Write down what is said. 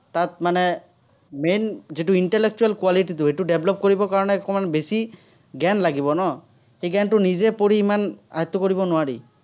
তাত মানে main যিটো intellectual quality টো, সেইটো develop কৰিবৰ কাৰণে অকণমান বেছি জ্ঞান লাগিব ন। সেই জ্ঞানটো নিজে পঢ়ি ইমান, আয়ত্ত কৰিব নোৱাৰি।